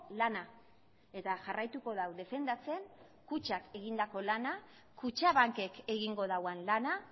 lana eta jarraituko du defendatzen kutxak egindako lana kutxabankek egingo duen lana